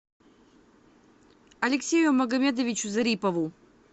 алексею магомедовичу зарипову